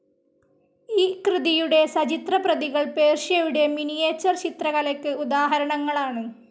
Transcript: ഈ കൃതിയുടെ സചിത്രപ്രതികൾ പേർഷ്യയുടെ മിനിയേച്ചർ ചിത്രകലയ്ക്ക് ഉദാഹരണങ്ങളാണ്.